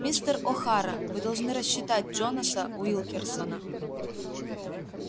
мистер охара вы должны рассчитать джонаса уилкерсона